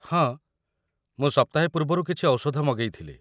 ହଁ, ମୁଁ ସପ୍ତାହେ ପୂର୍ବରୁ କିଛି ଔଷଧ ମଗେଇ ଥିଲି।